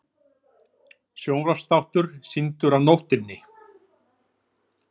Sjónvarpsþáttur sýndur á nóttinni